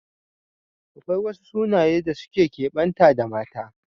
Akwai wasu sunaye da suka kebanta da mata